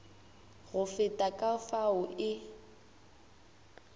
go feta ka fao e